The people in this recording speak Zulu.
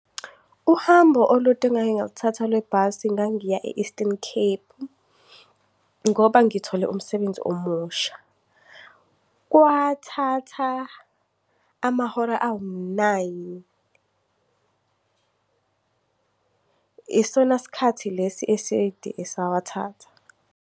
Uhambo olude engake ngalithatha lwebhasi, ngangiya e-Eastern Cape ngoba ngithole umsebenzi omusha. Kwathatha amahora awu-nine, isona sikhathi lesi eside esawathatha.